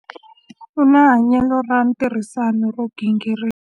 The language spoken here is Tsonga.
U na hanyelo ra ntirhisano ro gingirika.